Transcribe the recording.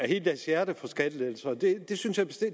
hele deres hjerte for skattelettelser det